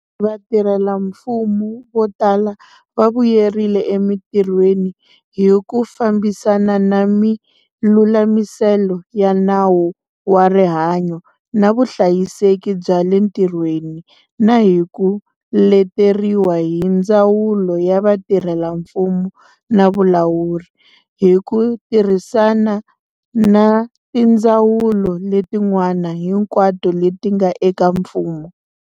Vatirhelamfumo vo tala va vuyerile emitirhweni hi ku fambisana na milulamiselo ya Nawu wa Rihanyo na Vuhlayiseki bya le Ntirhweni na hi ku leteriwa hi Ndzawulo ya Vatirhelamfumo na Vulawuri, hi ku tirhisana na tindzawulo letin'wana hinkwato leti nga eka mfumo.